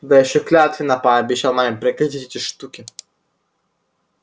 да ещё клятвенно пообещал маме прекратить эти штуки